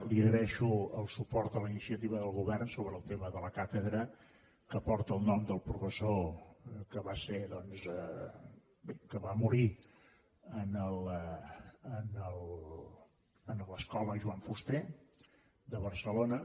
li agraeixo el suport a la iniciativa del govern sobre el tema de la càtedra que porta el nom del professor que va morir a l’escola joan fuster de barcelona